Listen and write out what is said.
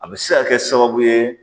A bɛ se ka kɛ sababu ye